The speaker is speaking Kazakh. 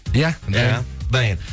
иә иә дайын